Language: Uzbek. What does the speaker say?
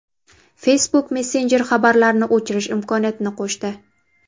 Facebook Messenger xabarlarni o‘chirish imkoniyatini qo‘shdi.